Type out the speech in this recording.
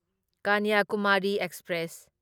Kanyakumari express